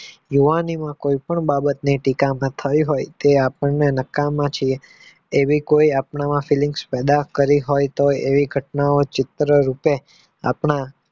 યુવાનીમાં કોઈ પણ બાબત ની ટીકા થઈ હોય તો આપણને નકમાં છીએ એવી કોઈ આપણામાં fillings બરબાદ કરી હોય એવી ઘટના ચિત્ર રૂપે આપણા